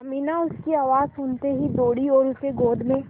अमीना उसकी आवाज़ सुनते ही दौड़ी और उसे गोद में